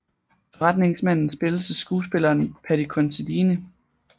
Forretningsmanden spilles af skuespilleren Paddy Considine